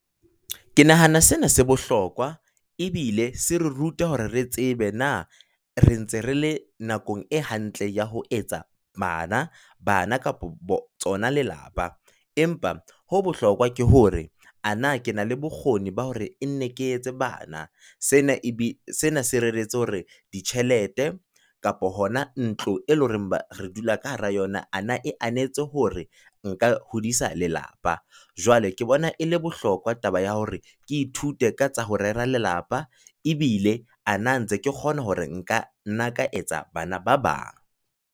Ke nahana sena se bohlokwa, ebile se re rute hore re tsebe na re ntse re le nakong e hantle ya ho etsa bana, bana, kapo tsona lelapa. Empa ho bohlokwa ke hore a na ke na le bokgoni ba hore e nne ke etse bana? Se na se reretse hore ditjhelete kapo hona ntlo, e leng hore ba re dula ka hara yona. A na e anetse hore nka hodisa lelapa? Jwale ke bona e le bohlokwa taba ya hore ke ithute ka tsa ho rera lelapa, ebile a na ntse ke kgona hore nka nna ka etsa bana ba bang?